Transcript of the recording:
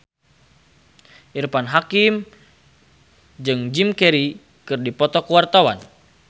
Irfan Hakim jeung Jim Carey keur dipoto ku wartawan